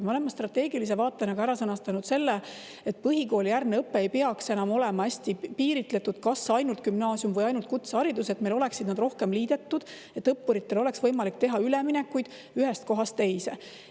Me oleme strateegilise vaatena ka ära sõnastanud selle, et põhikoolijärgne õpe ei peaks enam olema hästi piiritletud, kas ainult gümnaasium või ainult kutseharidus, vaid nad oleksid meil rohkem liidetud, et õppuritel oleks võimalik teha üleminekuid ühest kohast teise.